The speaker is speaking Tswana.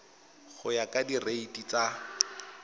go ya ka direiti tsa